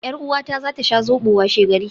Yar uwata za ta sha Zobo washegari